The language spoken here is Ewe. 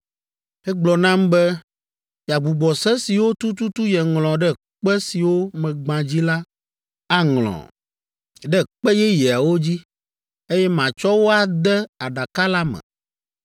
Egblɔ nam be yeagbugbɔ se siwo tututu yeŋlɔ ɖe kpe siwo megbã dzi la aŋlɔ ɖe kpe yeyeawo dzi, eye matsɔ wo ade Aɖaka la me.